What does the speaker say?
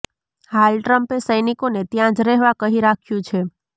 હાલ ટ્રમ્પે સૈનિકોને ત્યાં જ રહેવા કહી રાખ્યું છે